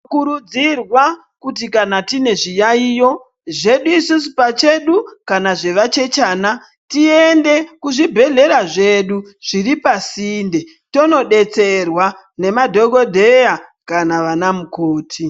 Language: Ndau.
Tinokurudzirwa kuti kana tine zviyaiyo zvedu isusu pachedu kana zvezvichechana tiende kuzvibhedhleya zviri pasinde tonodetserwa nemadhokoteya kana namukoti.